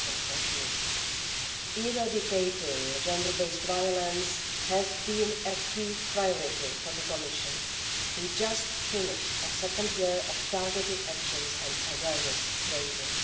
2014. Eradicating gender-based violence has been a key priority for the Commission. We have just finished a second year of targeted action and awareness raising.